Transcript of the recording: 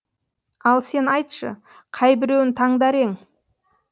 ал сен айтшы қайбіреуін таңдар ең